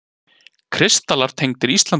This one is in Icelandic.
Kristallar tengdir Íslandi